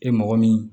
E mɔgɔ min